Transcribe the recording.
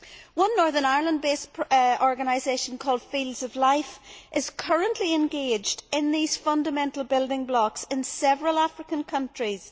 One Northern Ireland based organisation called Fields of Life is currently engaged in these fundamental building blocks in several African countries.